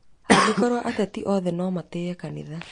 Angĩkorwo ateti othe no matĩye kanitha